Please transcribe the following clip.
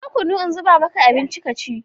Ɗauko kwanu in zuba maka abinci ka ci!